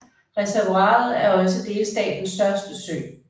Reservoiret er også delstatens største sø